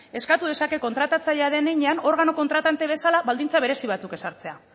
eskatu dezake kontratatzailea den heinean organo kontratante bezala baldintza berezi batzuk ezartzea